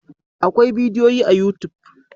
Akwai bidiyoyi a youtube.